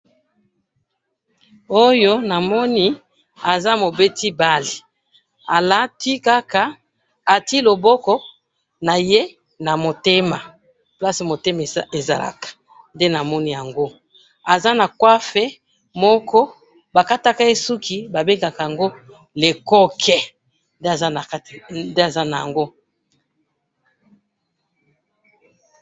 oyo namoni aza mobeti bal alati kaka atiye loboko naye na moteme place motema ezalaka nde namoni yango aza na coife moko bakatakaye suki babengaka yango le coq nde aza nayango.